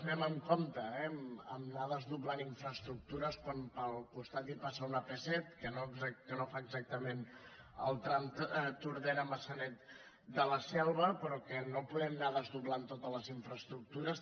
anem amb compte eh a anar desdoblant infraestructures quan pel costat hi passa una ap set que no fa exactament el tram tordera maçanet de la selva però no podem anar desdoblant totes les infraestructures